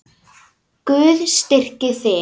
Guð styrki þig.